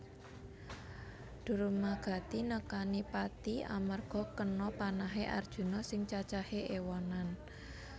Durmagati nekani pati amarga kena panahe Arjuna sing cacahé éwonan